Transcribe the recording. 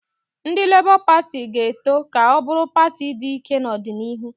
Ndị Lebọ Pati ga-eto ka ọ bụrụ pati dị ike n'ọdịnihu